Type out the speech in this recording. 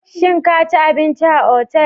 Shin ka ci abinci a otal?